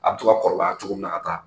A bɛ to ka kɔrɔbaya cogo min na ka taa